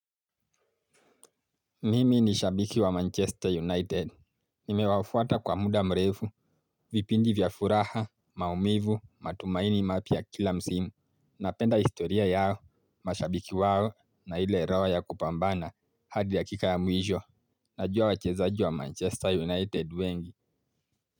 Mimi ni shabiki wa manchester united, nime wafuata kwa muda mrefu, vipindi vya furaha, maumivu, matumaini mapya kila msimu, na penda historia yao, mashabiki wao, na ile roho ya kupambana, hadi dakika ya mwisho, najua wachezaji wa manchester united wengi.